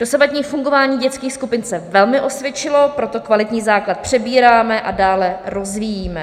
Dosavadní fungování dětských skupin se velmi osvědčilo, proto kvalitní základ přebíráme a dále rozvíjíme.